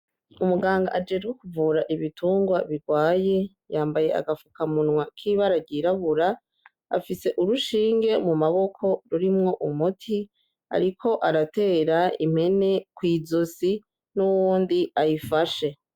Umuganga ajejwe kuvura ibiturwa birwaye, yambaye agapfukamunwa k'ibara ryirabura, afise urushinge mu maboko rurimwo umuti ariko aratera impene ku izosi, n'uwundi ayifashe.